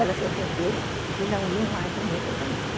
Elas se ofenderam e não iam mais ao meu casamento.